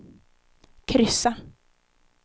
kryssa